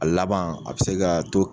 A laban a bɛ se ka to